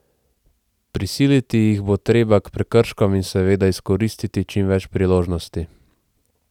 Prisiliti jih bo treba k prekrškom in seveda izkoristiti čim več priložnosti.